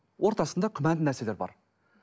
ортасында күмәнді нәрселер бар